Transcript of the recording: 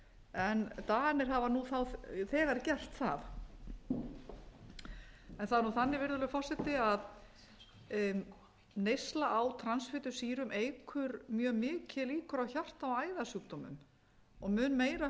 en danir hafa nú þegar gert það það er nú þannig virðulegur forseti að neysla á transfitusýrum eykur mjög mikið líkur á hjarta og æðasjúkdómum og mun meira heldur